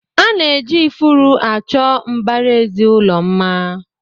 Ana eji ifuru achọ mbaraezi ụlọ mma.